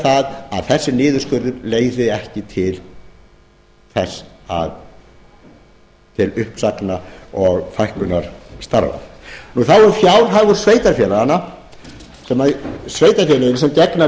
að þessi niðurskurður leiði ekki til uppsagna og fækkunar starfa þá er fjárhagur sveitarfélaganna sveitarfélögin sem gegna